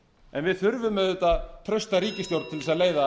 en við þurfum auðvitað trausta ríkisstjórn til að leiða